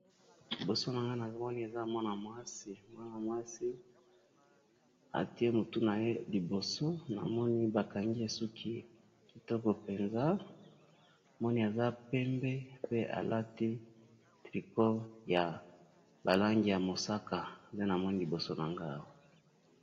Liboso na nga moni eza mwana mwasi atie motu na ye liboso namoni bakangi esuki kitoko mpenza moni aza pembe pe alati trico ya balangi ya mosaka nte namoni liboso na ngou